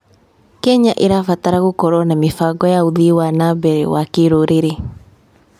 Kenya ĩrabatara gũkorwo na mĩbango ya ũthii wa na mbere wa kĩrũrĩrĩ